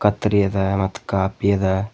ಕತ್ತರಿ ಅದ ಮತ್ತು ಕಾಫಿ ಅದ.